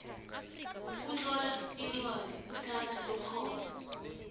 kutlola incwadi kuthatha ikgono